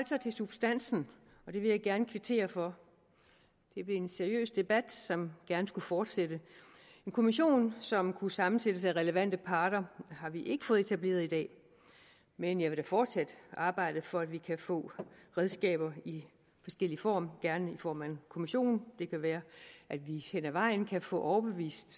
sig til substansen og det vil jeg gerne kvittere for det blev en seriøs debat som gerne skulle fortsætte en kommission som kunne sammensættes af relevante parter har vi ikke fået etableret i dag men jeg vil da fortsat arbejde for at vi kan få redskaber i forskellig form gerne i form af en kommission det kan være at vi hen ad vejen kan få overbevist